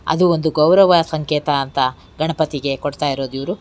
ಅದು ಒಂದು ಗೌರವ ಸಂಕೇತ ಅಂತ ಗಣಪತಿಗೆ ಕೊಡ್ತ ಇರೋದು ಇವರು.